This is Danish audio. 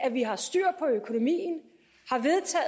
at vi har styr på økonomien